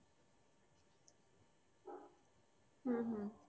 হু